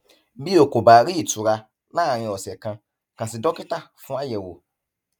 bí o kò bá rí ìtura láàárín ọsẹ kan kàn sí dókítà fún àyẹwò